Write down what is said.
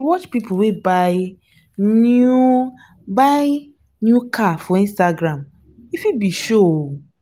you dey watch pipu wey buy new buy new car for instagram e fit be show o.